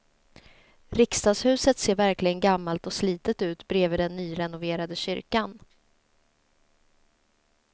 Riksdagshuset ser verkligen gammalt och slitet ut bredvid den nyrenoverade kyrkan.